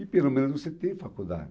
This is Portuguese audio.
E pelo menos você tem faculdade.